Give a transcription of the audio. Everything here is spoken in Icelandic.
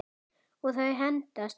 Og þau hendast út.